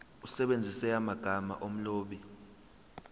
usebenzise amagama omlobi